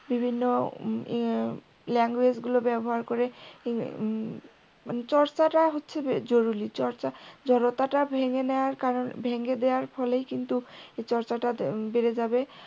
বিভিন্ন ইয়ে language গুলো ব্যবহার করে মানে চর্চাটা হচ্ছে জরুরী চর্চাটা জড়তাটা ভেঙ্গে নেওয়ার কারণে ভেঙে দেওয়ার ফলেই কিন্তু চর্চাটা বেড়ে যাবে।